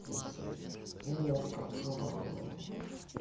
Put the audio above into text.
слушай ну я как жопа говорю